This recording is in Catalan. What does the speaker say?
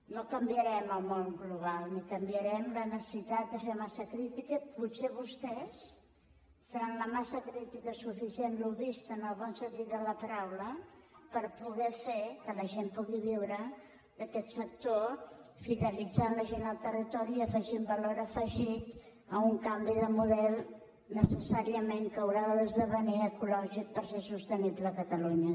no canviarem el món global ni canviarem la necessitat de ser massa crítica i potser vostès seran la massa crítica suficient lobbista en el bon sentit de la paraula per poder fer que la gent pugui viure d’aquest sector fidelitzant la gent al territori i afegint valor afegit a un canvi de model necessàriament que haurà d’esdevenir ecològic per ser sostenible a catalunya